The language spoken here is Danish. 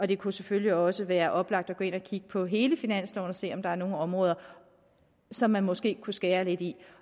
det kunne selvfølgelig også være oplagt at gå ind og kigge på hele finansloven og se om der er nogle områder som man måske kunne skære lidt i